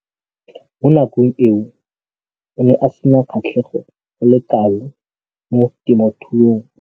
Mo nakong eo o ne a sena kgatlhego go le kalo mo temothuong.